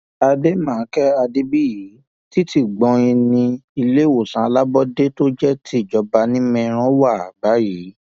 àdèmàkè adébíyí títí gbóìn ní iléèwòsàn alábọọdẹ tó jẹ ti ìjọba ní meiran wà báyìí